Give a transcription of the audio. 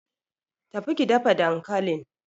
Tafi ki dafa dankalin!